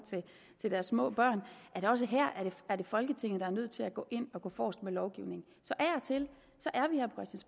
til deres små børn at også her er det folketinget der er nødt til at gå ind og gå forrest med lovgivning så af